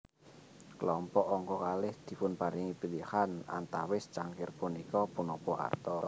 Kelompok angka kalih dipunparingi pilihan antawis cangkir punika punapa arta